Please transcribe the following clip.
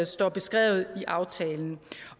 står beskrevet i aftalen